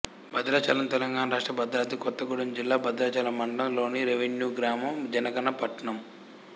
భద్రాచలం తెలంగాణ రాష్ట్రం భద్రాద్రి కొత్తగూడెం జిల్లా భద్రాచలం మండలం లోని రెవెన్యూ గ్రామం జనగణన పట్టణం